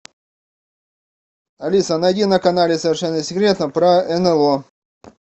алиса найди на канале совершенно секретно про нло